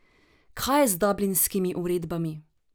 Kaj je z dublinskimi uredbami?